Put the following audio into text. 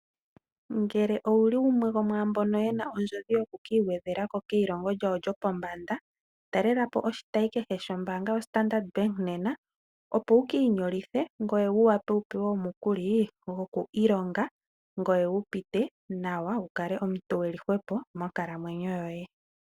Ngele owuli gumwe gomwaambono yena ondjodhi yokukiigwedhela ko keilongo lyawo lyopombanda talela po oshitayi kehe shombaanga yoStandard Bank nena opo wukiinyolithe ngoye wuvule okupewa omukuli gokwiilonga ngoye wupite nawa wukale omuntu eli hwepo monkalamwenyo yoye.